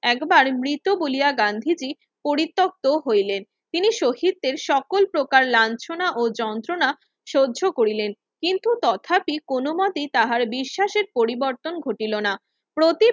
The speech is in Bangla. একবার মৃত বলিয়া গান্ধীজি পরিতপ্ত হইলেন তিনি শহীদের সকল প্রকার লাঞ্ছনা ও যন্ত্রনা সহ্য করিলেন কিন্ত তথাপি কোনো মতেই তাঁহার বিশ্বাসের পরিবর্তন ঘটিলো না প্রতি